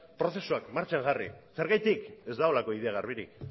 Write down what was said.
prozesuak martxan jarri zergatik ez dagoelako ideia garbirik